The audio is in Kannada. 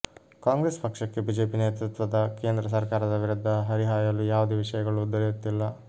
ಕಾಂಗ್ರೆಸ್ ಪಕ್ಷಕ್ಕೆ ಬಿಜೆಪಿ ನೇತೃತ್ವದ ಕೇಂದ್ರ ಸರ್ಕಾರದ ವಿರುದ್ಧ ಹರಿಹಾಯಲು ಯಾವುದೇ ವಿಷಯಗಳು ದೊರೆಯುತ್ತಿಲ್ಲ